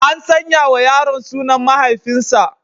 An sanya wa yaron sunan mahaifinsa.